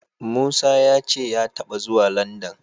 Musa ya ce ya taɓa zuwa Landan.